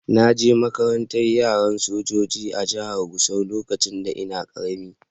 Na je makarantan yaran sojoji a'jihar Gusau lokacin da n'na karemi.